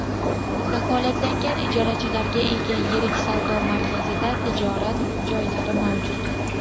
Kafolatlangan ijarachilarga ega yirik savdo markazida tijorat joylari mavjud.